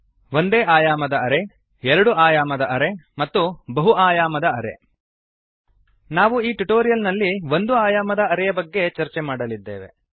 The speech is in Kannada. ಒಂದೇ ಆಯಾಮದ ಅರೇ ಎರಡು ಆಯಾಮದ ಅರೇ ಮತ್ತು ಬಹು ಆಯಾಮದ ಅರೇ ನಾವು ಈ ಟ್ಯುಟೋರಿಯಲ್ ನಲ್ಲಿ ಒಂದು ಆಯಾಮದ ಅರೇ ಯ ಬಗೆಗೆ ಚರ್ಚೆ ಮಾಡಲಾಗುವುದು